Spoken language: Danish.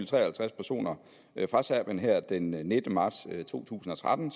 tre og halvtreds personer fra serbien her den nittende marts to tusind og tretten